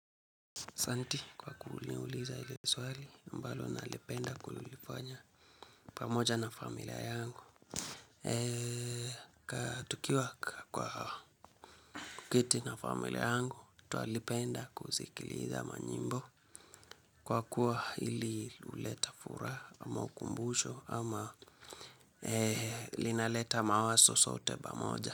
Asanti kwa kuniuliza hili swali ambalo nalipenda kulilifanya pamoja na familia yangu. Tukiwa kwa kuketi na familia yangu twalipenda kuzikiliza manyimbo kwa kuwa hili huleta furaha ama ukumbusho ama lina leta mawazo zote pamoja.